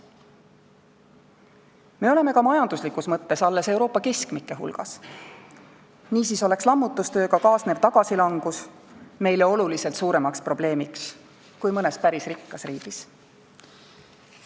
Me oleme ka majanduslikus mõttes alles Euroopa keskmike hulgas, niisiis oleks lammutustööga kaasnev tagasilangus meile oluliselt suurem probleem kui mõnele päris rikkale riigile.